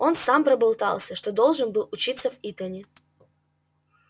он сам проболтался что должен был учиться в итоне